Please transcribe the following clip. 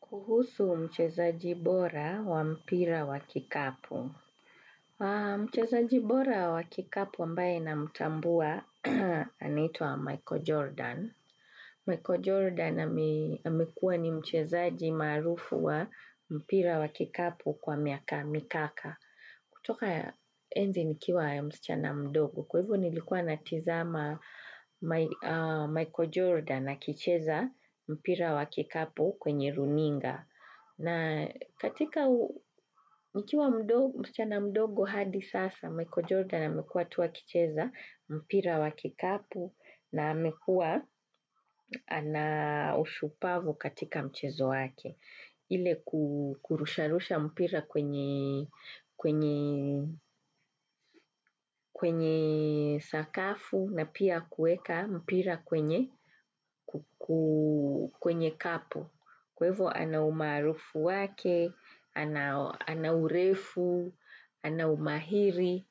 Kuhusu mchezaji bora wa mpira wa kikapu. Mchezaji bora wa kikapu ambaye namtambua anaitwa Michael Jordan. Michael Jordan amekuwa ni mchezaji maarufu wa mpira wa kikapu kwa miaka mikaka. Kutoka, enzi nikiwa ya msichana mdogo kwa hivyo nilikuwa natizama Michael Jordan akicheza, mpira wa kikapu kwenye runinga. Na katika, nikiwa msichana mdogo hadi sasa, Michael Jordan amekua tu akicheza, mpira wakikapu, na amekua, ana, ushupavu katika mchezo wake. Ile kurusha rusha mpira kwenye kwenye sakafu na pia kueka mpira kwenye, kwenye kapu. Kwa hivyo ana umarufu wake, anaurefu, anaumahiri,